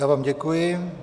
Já vám děkuji.